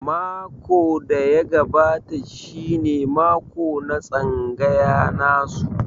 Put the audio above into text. Mako da ya gabata shi ne mako na tsangaya nasu.